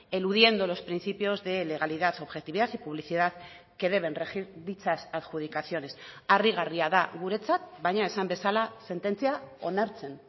eludiendo los principios de legalidad objetividad y publicidad que deben regir dichas adjudicaciones harrigarria da guretzat baina esan bezala sententzia onartzen